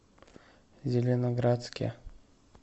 зеленоградске